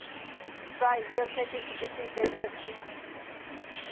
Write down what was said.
ਪੜਾਈ ਵੀ ਓਥੇ ਕੀਤੀ ਤੇ teacher ਵੀ ਓਥੇ ਹੀਂ ਸੀ